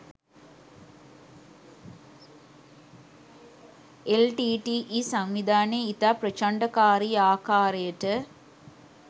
LTTE සංවිධානය ඉතා ප්‍රචණ්ඩකාරී ආකාරයට